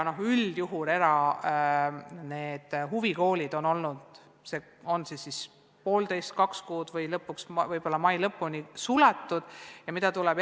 Üldjuhul on erahuvikoolid olnud poolteist või kaks kuud suletud, võib-olla jäävad suletuks kuni mai lõpuni.